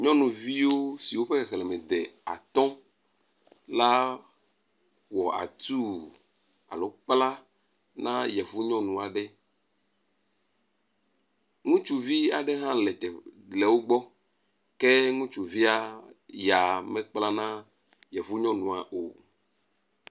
Nyɔnuviwo si woƒe xexleme de atɔ la wɔ atu alo kpla na yevu nyɔnu aɖe. Ŋutsuvi aɖe ha le wo gbɔ ke ŋutsuvi ya mekpla na yevu nyɔnua o.